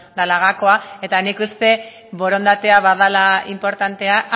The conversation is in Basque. dela gakoa eta nik uste borondatea badela inportantea